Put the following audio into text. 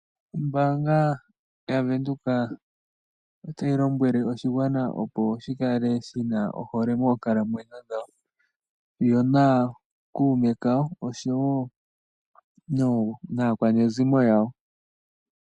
Ombaanga ya Venduka otayi lombwele oshigwana opo shi kale shina ohole mookalamwenyo dhawo yo na kuume kawo oshowo naakwanezimo yawo.